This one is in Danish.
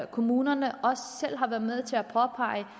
kommunerne selv har været med til at pege